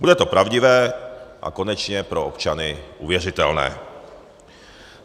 Bude to pravdivé a konečně pro občany uvěřitelné.